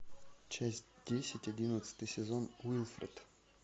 часть десять одиннадцатый сезон уилфред